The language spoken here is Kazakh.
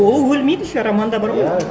ол өлмейді еще романда бар ғой иә